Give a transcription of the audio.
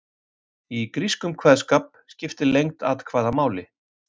Í grískum kveðskap skiptir lengd atkvæða máli.